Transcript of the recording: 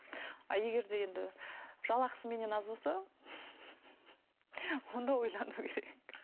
ал егер де енді жалақысы менен аз болса онда ойлану керек